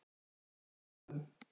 Fornhólum